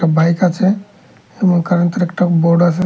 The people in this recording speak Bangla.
বাইক আছে এবং কারেন্তের একটা বোর্ড আসে।